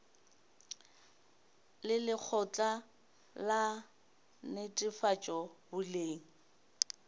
le lekgotla la netefatšo boleng